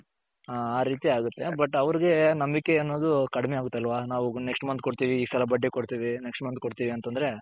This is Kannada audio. ಹಾ ರೀತಿ ಆಗುತ್ತೆ but ಅವರಿಗೆ ನಂಬಿಕೆ ಅನ್ನೋದು ಕಡಿಮೆ ಆಗುತ್ತೆ ಅಲ್ವ ಒಬ್ಬರು next month ಕೊಡ್ತೀವಿ ಈ ಸಲ ಬಡ್ಡಿ ಕೊಡ್ತೀವಿ next month ಕೊಡ್ತೀವಿ ಅಂತ ಅಂದ್ರೆ.